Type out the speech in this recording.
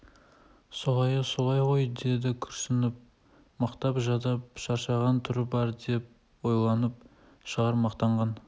солайы солай ғой деді күрсініп мықтап жадап шаршаған түрі бар деп ойланып шағырмақтанған